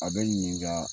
A bɛ ɲininka